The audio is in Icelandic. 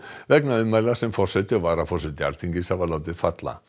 vegna ummæla sem forseti og varaforseti Alþingis hafa látið falla